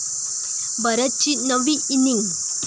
भरतची नवी इनिंग!